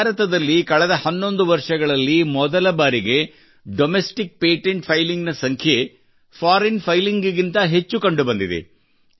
ಭಾರತದಲ್ಲಿ ಕಳೆದ 11 ವರ್ಷಗಳಲ್ಲಿ ಮೊದಲ ಬಾರಿಗೆ ಡೊಮೆಸ್ಟಿಕ್ ಪೇಟೆಂಟ್ ಫೈಲಿಂಗ್ ನ ಸಂಖ್ಯೆ ಫೋರಿಯನ್ ಫೈಲಿಂಗ್ ಗಿಂತ ಹೆಚ್ಚು ಕಂಡು ಬಂದಿದೆ